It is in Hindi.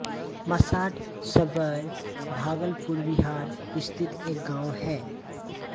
मसाढ सबौर भागलपुर बिहार स्थित एक गाँव है